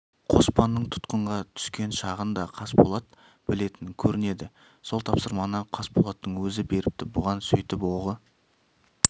қоспанның тұтқынға түскен шағын да қасболат білетін көрінеді сол тапсырманы қасболаттың өзі беріпті бұған сөйтіп оғы